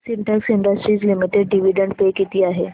Sintex industries limited dividend pay किती आहे